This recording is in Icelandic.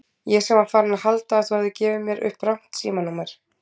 Ég sem var farinn að halda að þú hefðir gefið mér upp rangt símanúmer.